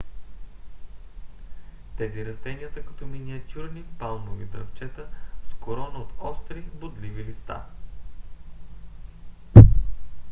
тези растения са като миниатюрни палмови дръвчета с корона от остри бодливи листа